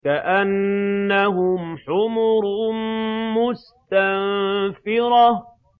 كَأَنَّهُمْ حُمُرٌ مُّسْتَنفِرَةٌ